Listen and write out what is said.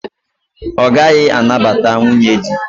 Ọ gaghị anabata nwunye di.